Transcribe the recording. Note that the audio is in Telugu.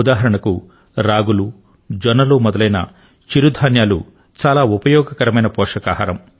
ఉదాహరణ కు రాగులు జొన్నలు మొదలైన చిరు ధాన్యాలు చాలా ఉపయోగకరమైన పోషకాహారం